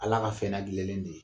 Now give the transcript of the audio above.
Ala ka fɛn ladilanlen de ye